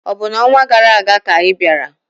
Ọ̀ bụ n'ọnwa gara aga ka ị bịara?